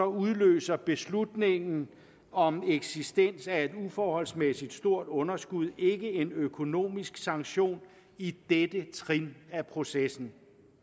udløser beslutningen om eksistensen af et uforholdsmæssigt stort underskud ikke en økonomisk sanktion i dette trin af processen